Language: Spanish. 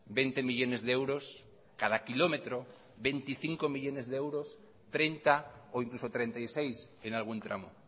veinte millónes de euros cada kilómetro veinticinco millónes de euros treinta o incluso treinta y seis en algún tramo